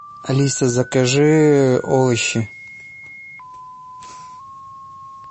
алиса закажи овощи